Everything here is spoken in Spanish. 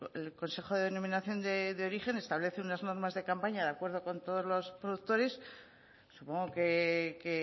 el consejo de denominación de origen establece unas normas de campaña de acuerdo con todos los productores supongo que